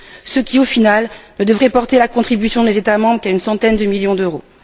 Ce qui au final ne devrait porter la contribution des États membres qu'à une centaine de millions d'euros.